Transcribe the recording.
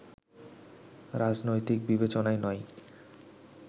রাজনৈতিক বিবেচনায় নয়